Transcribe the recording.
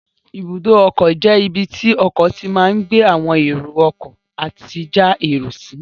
Ibùdó ọkọ̀ jẹ́ ibi tí ọkọ̀ tí máa gbé àwọn èrò ọkọ̀ àti já èrò sí